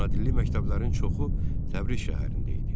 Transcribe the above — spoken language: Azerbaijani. Ana dilli məktəblərin çoxu Təbriz şəhərində idi.